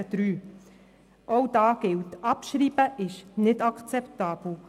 Zu Ziffer 3: Auch hier ist abschreiben nicht akzeptabel.